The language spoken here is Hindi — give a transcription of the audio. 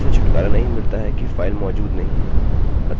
किन्तु इस तथ्य से छुटकारा नहीं मिलता कि फाइल मौजूद नहीं है